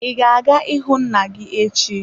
I ga-aga ịhụ nna gị echi.